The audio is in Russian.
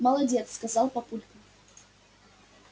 молодец сказал папулька